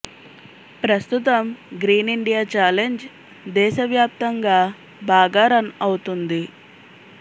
ప్రస్తుతం green India challenge దేశ వ్యాప్తంగా బాగా రన్ అవుతుంది